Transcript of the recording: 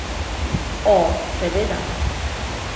O, seveda!